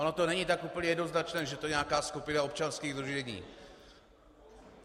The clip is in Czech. Ono to není tak úplně jednoznačné, že to je nějaká skupina občanských sdružení.